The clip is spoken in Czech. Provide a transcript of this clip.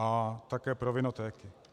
A také pro vinotéky.